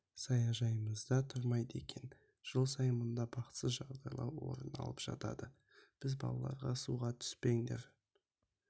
саяжайымызда тұрмайды екен жыл сайын мұнда бақытсыз жағдайлар орын алып жатады біз балаларға суға түспеңдер